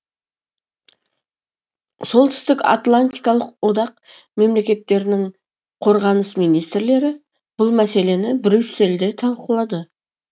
солтүстік атлантикалық одақ мемлекеттерінің қорғаныс министрлері бұл мәселені брюссельде талқылады